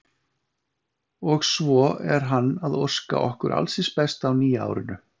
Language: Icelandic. Og svo er hann að óska okkur alls hins besta á nýja árinu.